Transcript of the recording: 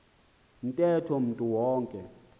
ntetho umntu wonke